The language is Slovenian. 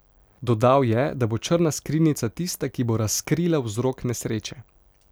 Dodal je, da bo črna skrinjica tista, ki bo razkrila vzrok nesreče.